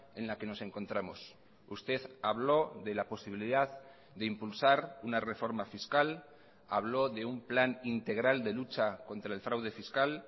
en la que nos encontramos usted habló de la posibilidad de impulsar una reforma fiscal habló de un plan integral de lucha contra el fraude fiscal